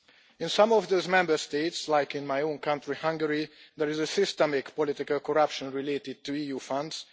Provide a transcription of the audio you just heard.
In some of the Member States, like in my own county Hungary there is systemic political corruption related to the EU funds.